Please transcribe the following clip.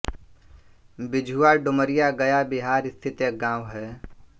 बिझुआ डुमरिया गया बिहार स्थित एक गाँव है